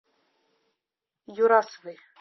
юрасовой